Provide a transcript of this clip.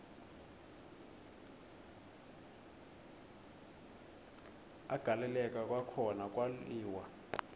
agaleleka kwakhona kwaliwa